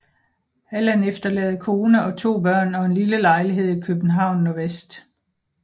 Allan efterlader kone og 2 børn og en lille lejlighed i København NV